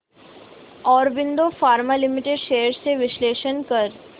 Aurobindo pharma limited shares चे विश्लेषण कर